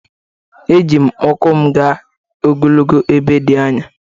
Eji m ụkwụ m gaa ogologo ebe dị anya